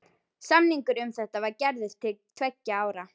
Samningur um þetta var gerður til tveggja ára.